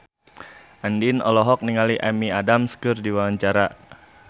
Andien olohok ningali Amy Adams keur diwawancara